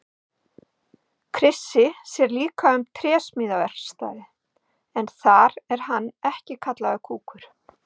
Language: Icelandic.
Krissi sér líka um trésmíðaverkstæðið en þar er hann ekki kallaður kúkur.